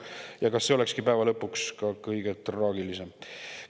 Ja kas see olekski päeva lõpuks kõige traagilisem?